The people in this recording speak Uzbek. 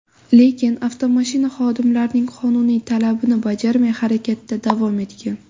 Lekin avtomashina xodimlarning qonuniy talabini bajarmay, harakatda davom etgan.